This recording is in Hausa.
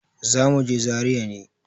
Zamuje zaria ne